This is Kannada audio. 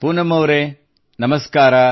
ಪೂನಂ ಅವರೇ ನಮಸ್ಕಾರ